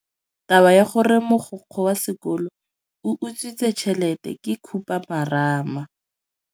Taba ya gore mogokgo wa sekolo o utswitse tšhelete ke khupamarama.